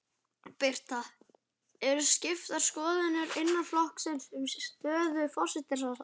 Birta: Eru skiptar skoðanir innan flokksins um stöðu forsætisráðherra?